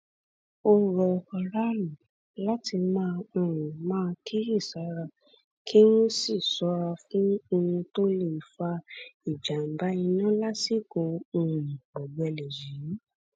ó rọ aráàlú láti um máa kíyèsára kí wọn sì ṣọra fún ohun tó lè fa ìjàmbá iná lásìkò um ọgbẹlẹ yìí